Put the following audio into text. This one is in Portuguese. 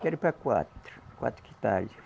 Quero para quatro, quatro quintais.